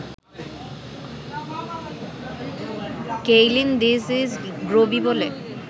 Kaylin ‘this is Grobi’ বলে